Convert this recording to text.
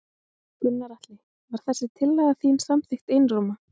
Gunnar Atli: Var þessi tillaga þín samþykkt einróma?